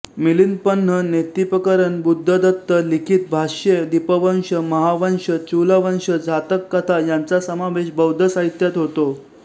मिलिंदपन्ह नेत्तिपकरण बुद्धदत्त लिखित भाष्ये दिपवंस महावंस चूलवंस जातक कथा यांचा समावेश बौद्ध साहित्यात होतो